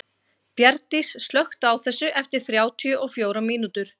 Bjargdís, slökktu á þessu eftir þrjátíu og fjórar mínútur.